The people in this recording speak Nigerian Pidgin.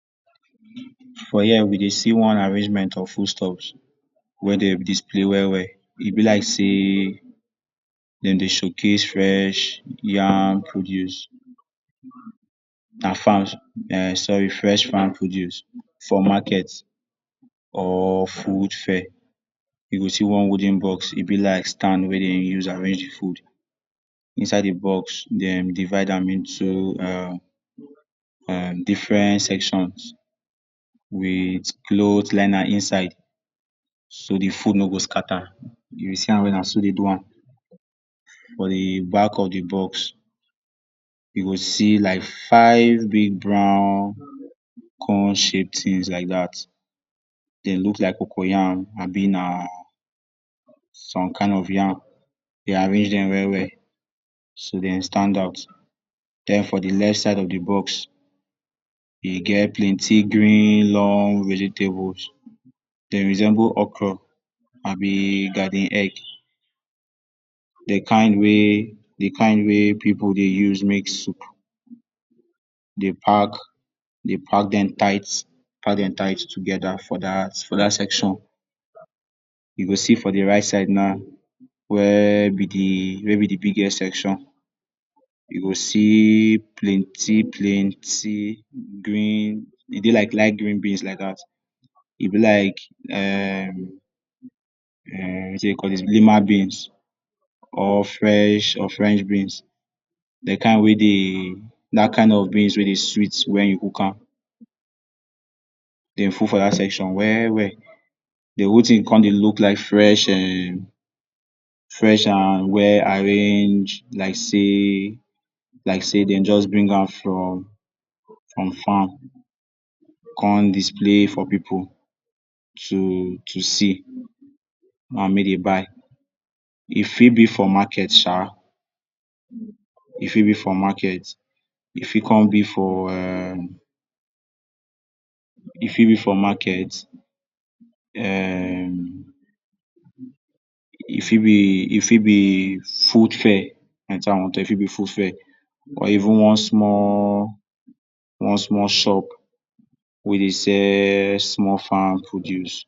For here, we dey see one arrangement of foodstuffs wey dey display well well. E be like sey dem dey showcase fresh yam produce and farm, um sorry fresh farm produce for market or food fair. You go see one wooden box, e be like stand wey dey use arrange de food. Inside de box, dem divide am into um um different sections with cloth liner inside. So de food no go scatter. You see am well na so dey do am. For de back of de box, you go see like five big brown corn-shaped things like dat, dem look like cocoa yam abi na some kind of yam. Dey arrange dem well well, so dem stand out. Den for de left side of de box, e get plenty green long vegetables. Dem resemble okro abi garden egg, de kain wey, de kain wey pipu dey use make soup. Dey pack, dey pack dem tight, pack dem tight together for dat for dat section. You go see for de right side now where be de, where be de biggest section, you go see plenty plenty green, e dey like light green beans like dat. E be like um um wetin dey dey call dis, lima beans or french or french beans de kain wey dey, dat kain of beans wey dey sweet when you cook am, dem full for dat section well well. Den wetin you come dey look like fresh um fresh um well arranged like sey like sey dem just bring am from from farm come display for pipu to to see, and make dey buy. E fit be for market sha, e fit be for market. E fit come be for um e fit be for market um e fit be e fit be food fair, na wetin I wan talk, e fit be food fair or even one small one small shop wey dey sell small farm produce.